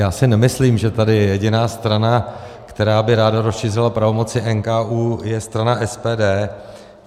Já si nemyslím, že tady jediná strana, která by ráda rozšířila pravomoci NKÚ, je strana SPD.